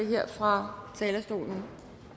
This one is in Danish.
her fra talerstolen